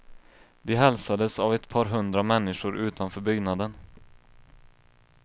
De hälsades av ett par hundra människor utanför byggnaden.